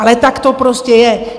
Ale tak to prostě je.